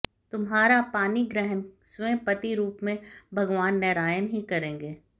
तुम्हारा पाणिग्रहण स्वयं पति रूप में भगवान नारायण ही करेंगे